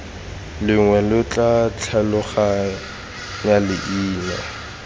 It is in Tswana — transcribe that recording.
lengwe lo tla tlhaloganya leina